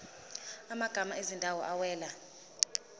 amagama ezindawo awela